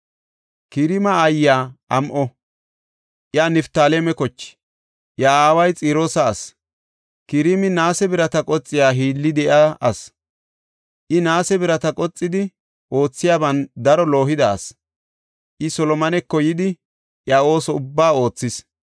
Kiraama aayiya am7o; iya Niftaaleme koche. Iya aaway Xiroosa asi. Kiraami naase birata qoxiya hiilli de7iya ase; I naase birata qoxidi oothiyaban daro loohida asi; I Solomoneko yidi iya ooso ubbaa oothis.